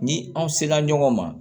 Ni aw sela ɲɔgɔn ma